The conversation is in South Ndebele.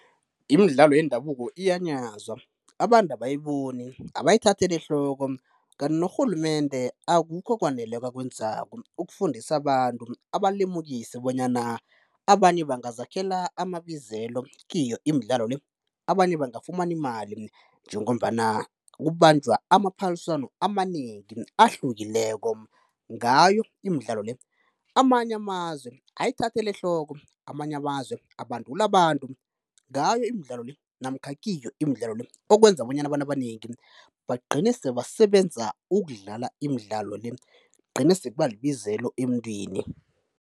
Imidlalo yendabuko iyanyazwa, abantu abayiboni, abayithatheli ehloko kanti norhulumende akukho okwaneleko akwenzako ukufundisa abantu, abalemukise bonyana abanye bangazakhela amabizelo kiyo imidlalo le. Abanye bangafumana imali njengombana kubanjwa amaphaliswano amanengi ahlukileko ngayo imidlalo le. Amanye amazwe ayithathela ehloko, amanye amazwe abandula abantu ngayo imidlalo le namkha kiyo imidlalo le okwenza bonyana abantu abanengi bagcine sebasebenza ukudlala imidlalo le, igcine sekuba libizelo emntwini.